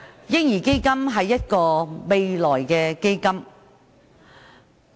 "嬰兒基金"是未來的基金。